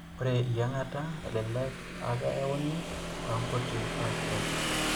Ore eyieng'ata elelek aa keyieuni toonkuti paasharot.